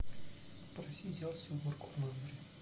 попроси сделать уборку в номере